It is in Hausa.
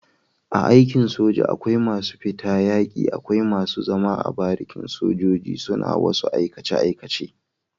A aikin soja akwai masu fita yaki akwai masu zama a barikin sojoji suna wasu aikace aikace